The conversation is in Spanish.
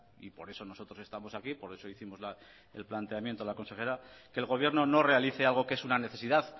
y por eso nosotros estamos aquí y por eso hicimos el planteamiento a la consejera que el gobierno no realice algo que es una necesidad